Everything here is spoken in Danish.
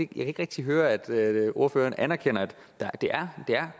kan ikke rigtig høre at ordføreren anerkender at det er